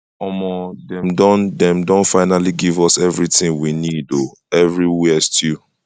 omo dem don dem don finally give us everything we need oo everywhere stew